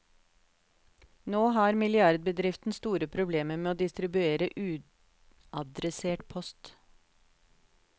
Nå har milliardbedriften store problemer med å distribuere uadressert post.